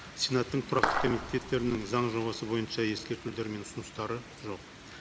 сенаттың тұрақты комитеттерінің заң жобасы бойынша ескертулері мен ұсыныстары жоқ